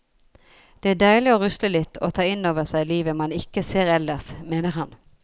Det er deilig å rusle litt og ta innover seg livet man ikke ser ellers, mener han.